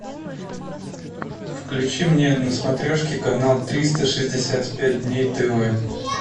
включи мне на смотрешке канал триста шестьдесят пять дней тв